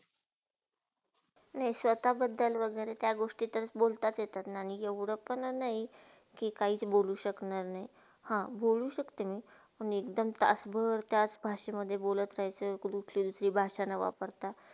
नाही तर, स्वताबदधल वगेरे त्या गोष्टीत बोलतास येता, पण ऐवडे पण नाही की, काही बोलू शकणार नाही. हा, बोलु शक्त मी पण एक दम तासभर त्याच भाषामधे बोलत रहायचा आणि कुठली दुसरी भाषा नावापरता.